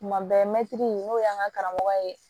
Tuma bɛɛ mɛtiri n'o y'an ka karamɔgɔ ye